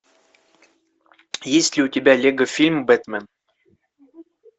есть ли у тебя лего фильм бэтмен